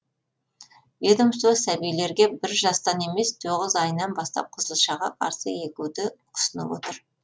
ведомство сәбилерге бір жастан емес тоғыз айынан бастап қызылшаға қарсы егуді ұсынып отыр